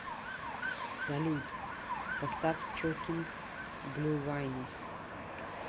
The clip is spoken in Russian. салют поставь чокинг блю вайнус